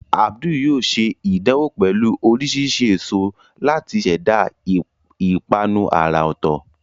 Abdul yóò ṣe ìdánwò pẹ̀lú oríṣiríṣi èso láti ṣẹ̀dá ìpanu àrà ọ̀tọ̀.